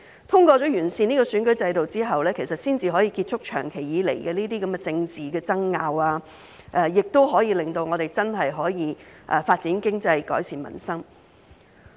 通過完善選舉制度後，才可以結束長期以來的這些政治爭拗，亦令我們真正可以發展經濟、改善民生。